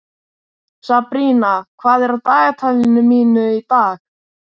Sabrína, hvað er í dagatalinu mínu í dag?